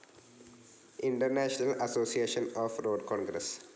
international association of road Congress